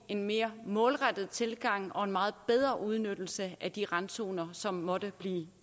en mere målrettet tilgang og en meget bedre udnyttelse af de randzoner som måtte blive